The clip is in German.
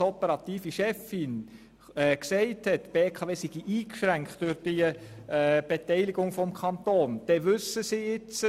Als operative Chefin hat Frau Thoma gesagt, die BKW sei durch die Beteiligung des Kantons eingeschränkt.